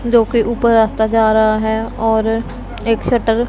जो कि ऊपर रास्ता जा रहा है और एक शटर --